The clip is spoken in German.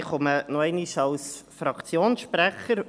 Ich komme noch einmal als Fraktionssprecher.